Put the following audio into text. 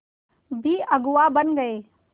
भी अगुवा बन गए